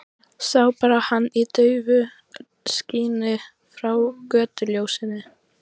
Sá bara hann í daufu skini frá götuljósinu.